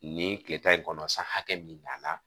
Nin kile tan in kɔnɔ san hakɛ min nana